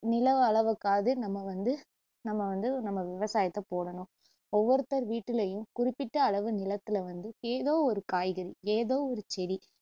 நில அளவுக்காவது நம்ம வந்து நம்ம வந்து நம்ம விவசாயத்த போடணும் ஒவ்வொருத்தர் வீட்டுலேயும் குறிப்பிட்ட அளவு நிலத்துல வந்து ஏதோ ஒரு காய்கறி ஏதோ ஒரு செடி